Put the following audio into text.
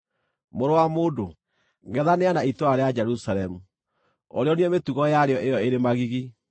“Mũrũ wa mũndũ, ngʼethanĩra na itũũra rĩa Jerusalemu, ũrĩonie mĩtugo yarĩo ĩyo ĩrĩ magigi,